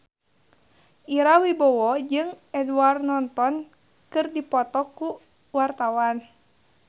Ira Wibowo jeung Edward Norton keur dipoto ku wartawan